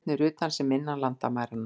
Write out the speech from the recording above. Óvinirnir utan sem innan landamæranna.